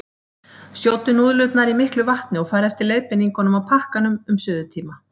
Sjóddu núðlurnar í miklu vatni og farðu eftir leiðbeiningunum á pakkanum um suðutíma.